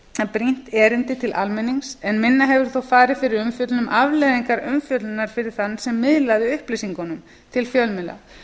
brýnt erindi til almennings en minna hefur þó farið fyrir umfjöllun um afleiðingar umfjöllunarinnar fyrir þann sem miðlaði upplýsingunum til fjölmiðla